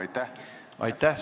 Aitäh!